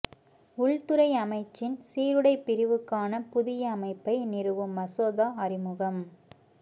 உள்துறை அமைச்சின் சீருடைப் பிரிவுக்கான புதிய அமைப்பை நிறுவும் மசோதா அறிமுகம்